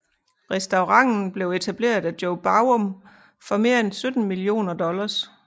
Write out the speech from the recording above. Restauranten blev etableret af Joe Baum for mere end 17 millioner dollars